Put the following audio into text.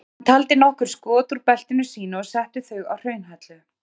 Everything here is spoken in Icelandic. Hann taldi nokkur skot úr beltinu sínu og setti þau á hraunhellu.